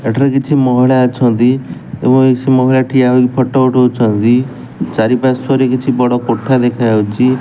ଗାଡ଼ିର କିଛି ମହିଳା ଅଛନ୍ତି ଏବଂ ଏଇଟି ସେ ମହିଳା ଠିଆ ହୋଇକି ଫଟୋ ଉଠଉଚନ୍ତି ଚାରି ପାର୍ଶ୍ଵ ରେ କିଛି ବଡ଼ କୋଠା ଦେଖାଯାଉଚି।